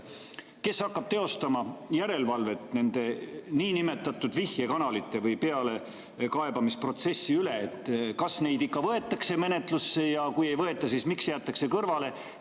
Kes hakkab teostama järelevalvet nende niinimetatud vihjekanalite või pealekaebamisprotsessi üle, et kas neid ikka võetakse menetlusse ja kui ei võeta, siis miks jäetakse kõrvale?